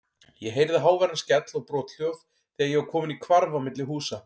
Ég heyrði háværan skell og brothljóð þegar ég var kominn í hvarf á milli húsa.